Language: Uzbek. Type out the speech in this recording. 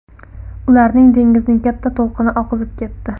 Ularni dengizning katta to‘lqini oqizib ketdi.